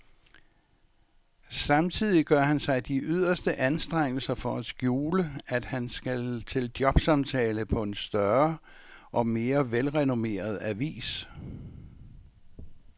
Samtidig gør han sig de yderste anstrengelser for at skjule, at han skal til jobsamtale på en større og mere velrenommeret avis.